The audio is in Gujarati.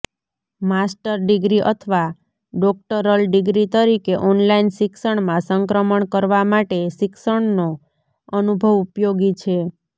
માસ્ટર ડિગ્રી અથવા ડોક્ટરલ ડિગ્રી તરીકે ઓનલાઇન શિક્ષણમાં સંક્રમણ કરવા માટે શિક્ષણનો અનુભવ ઉપયોગી છે